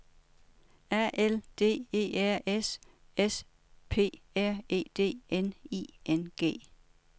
A L D E R S S P R E D N I N G